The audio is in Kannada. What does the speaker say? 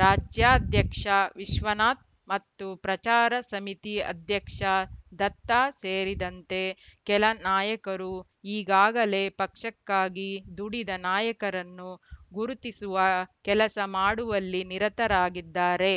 ರಾಜ್ಯಾಧ್ಯಕ್ಷ ವಿಶ್ವನಾಥ್‌ ಮತ್ತು ಪ್ರಚಾರ ಸಮಿತಿ ಅಧ್ಯಕ್ಷ ದತ್ತ ಸೇರಿದಂತೆ ಕೆಲ ನಾಯಕರು ಈಗಾಗಲೇ ಪಕ್ಷಕ್ಕಾಗಿ ದುಡಿದ ನಾಯಕರನ್ನು ಗುರುತಿಸುವ ಕೆಲಸ ಮಾಡುವಲ್ಲಿ ನಿರತರಾಗಿದ್ದಾರೆ